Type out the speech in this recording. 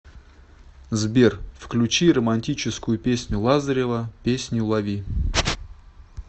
сбер включи романтическую песню лазарева песню лови